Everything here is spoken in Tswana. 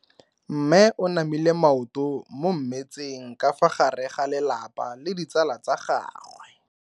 Mme o namile maoto mo mmetseng ka fa gare ga lelapa le ditsala tsa gagwe.